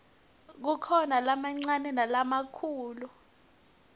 kukhona lamancane nalamakhulu